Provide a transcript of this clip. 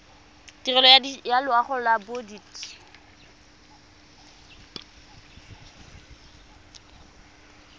tirelo ya loago ya bodit